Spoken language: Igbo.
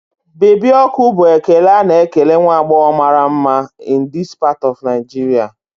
Baby ọkụ' bụ ekele a na-ekele nwa agbọghọ mara mma in this part of Nigeria